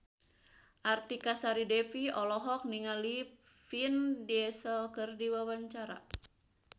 Artika Sari Devi olohok ningali Vin Diesel keur diwawancara